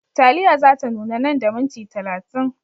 Taliya za ta nuna nan da minti talatin.